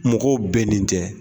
Mɔgɔw bɛnnen tɛ